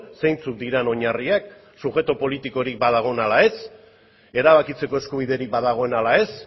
zeintzuk diren oinarriak subjektu politikorik badagoen ala ez erabakitzeko eskubiderik badagoen ala ez